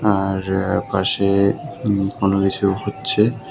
আর পাশে উম কোনকিছু হচ্ছে।